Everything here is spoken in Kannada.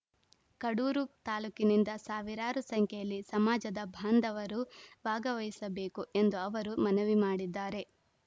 ಕಡೂರು ತಾಲೂಕಿನಿಂದ ಸಾವಿರಾರು ಸಂಖ್ಯೆಯಲ್ಲಿ ಸಮಾಜದ ಭಾಂಧವರು ಭಾಗವಹಿಸಬೇಕು ಎಂದು ಅವರು ಮನವಿ ಮಾಡಿದ್ದಾರೆ